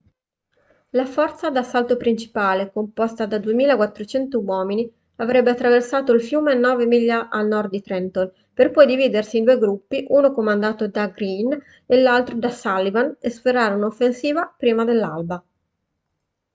la forza d'assalto principale composta da 2.400 uomini avrebbe attraversato il fiume nove miglia a nord di trenton per poi dividersi in due gruppi uno comandato da greene e l'altro da sullivan e sferrare un'offensiva prima dell'alba